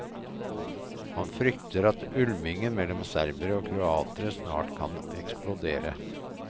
Han frykter at ulmingen mellom serbere og kroater snart kan eksplodere.